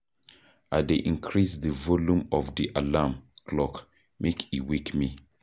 I dey increase di volume of di alarm clock make e wake me.